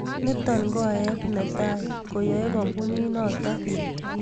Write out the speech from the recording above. Nito ko aeet netai koaaeei kambunii noto